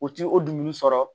O ti o dumuni sɔrɔ